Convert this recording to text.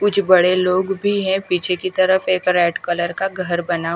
कुछ बड़े लोग भी हे पीछे की तरफ एक रेड कलर का एक घर बना--